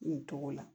Nin cogo la